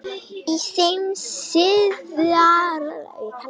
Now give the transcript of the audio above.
Í þeim síðari byrjuðu Spánverjar betur og sóttu mikið.